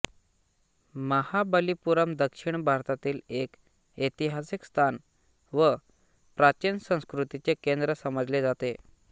महाबलीपुरम दक्षिण भारतातील एक ऐतिहासिक स्थान व प्राचीन संस्कृतीचे केंद्र समजले जाते